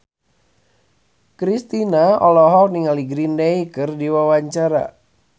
Kristina olohok ningali Green Day keur diwawancara